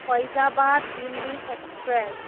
Faizabad Delhi express